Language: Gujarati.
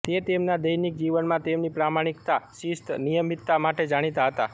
તે તેમના દૈનિક જીવનમાં તેમની પ્રામાણિકતા શિસ્ત નિયમિતતા માટે જાણીતા હતા